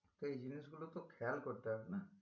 এই জিনিসগুলো তো খেয়াল করতে হবে না